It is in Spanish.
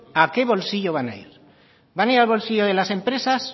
a qué bolsillo van a ir van a ir al bolsillo de las empresas